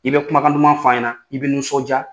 I bɛ kumakan duman f' an ɲɛna i bɛ nisɔndiya